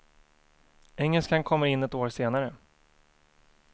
Engelskan kommer in ett år senare.